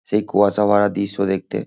সেই কুয়াশা ভরা দৃশ্য দেখতে।